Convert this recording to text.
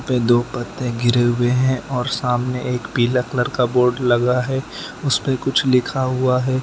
दो पत्ते गिरे हुए हैं और सामने एक पीला कलर का बोर्ड लगा है उसपे कुछ लिखा हुआ है।